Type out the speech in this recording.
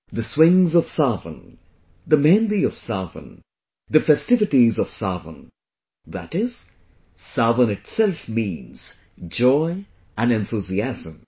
The swings of Sawan, the mehendi of Sawan, the festivities of Sawan... that is, 'Sawan' itself means joy and enthusiasm